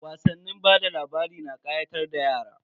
Wasannin bada labari na kayatar da yara.